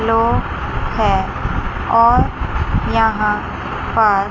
लो है और यहां पर--